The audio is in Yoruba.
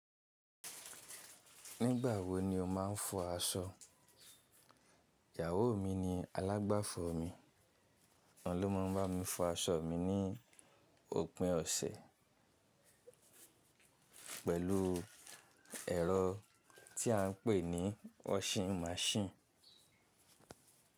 Nígbà wo ni o máa ń fọ aṣọ? Ìyàwó mi ni alágbàfọ̀ mi, òun ló máa ń bá mi fọ aṣọ mi ní òpin ọ̀sẹ̀ pẹ̀lú ẹ̀rọ tí a ń pè ní washing machine.